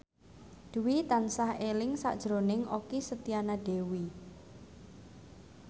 Dwi tansah eling sakjroning Okky Setiana Dewi